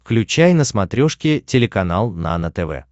включай на смотрешке телеканал нано тв